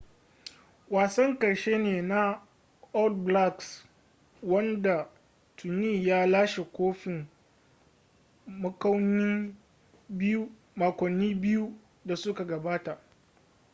wasan karshe ne na all blacks wanda tuni ya lashe kofin makonni biyu da suka gabata